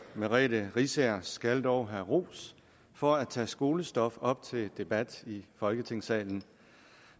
merete riisager skal dog have ros for at tage skolestof op til debat i folketingssalen